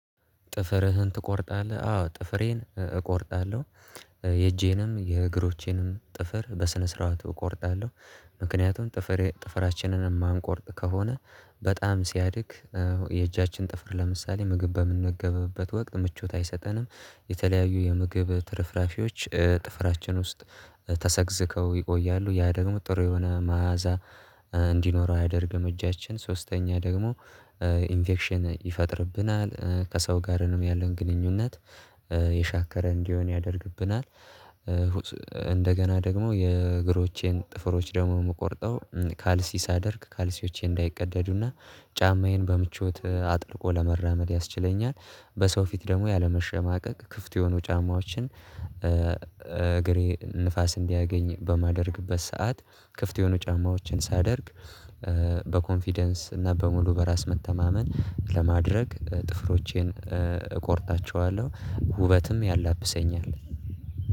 ጥፍርህን ትቆርጣለህ? አዎ ጥፍሬን እቆርጣለሁ የእጄንም፣ የእግሮቼንም ጥፍር በስነ ስርዓቱ እቆርጣለሁ ምክንያቱም ጥፍር ጥፍራችንን የማንቆርጥ ከሆነ በጣም ሲያድግ የእጃችን ጥፍር ለምሳሌ ምግብ በምንገብበት ወቅት ምቾት አይሰጠንም የተለያዩ የምግብ ትርፍራፊዎች ጥፍራችን ውስጥ ተሰግዝቀው ይቆያሉ ያ ደግሞ ጥሩ የሆነ መዓዛ እንዲኖረው አያደርግም እጃችን። ሶስተኛ ደግሞ ኢንፌክሽን ይፈጥርብናል ከሰው ጋርም ያለውን ግንኙነት የሻከረ እንዲሆን ያደርግብናል እንደገና ደግሞ የእግሮቼን ጥፍሮች ደግሞ የምቆርጠው ካልሲ ሳደርግ ካልሲዎቼ እንዳይቀደዱና ጫማዬን በምቾት አጥልቆ ለመራመድ ያስችለኛል። በሰው ፊት ደግሞ ያለመሸማቀቅ ክፍት የሆኑ ጫማዎችን እግሬ ንፋስ እንዲያገኝ በማደርግበት ሰዓት ክፍት የሆኑ ጫማዎችን ሳደርግ በኮንፊደንስ እና በሙሉ በራስ መተማመን ለማድረግ ጥፍሮቼን እቆርጣቸዋለሁ። ውበትም ያላብሰኛል።